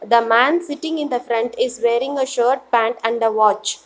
The man sitting in the front is wearing a shirt pant and the watch.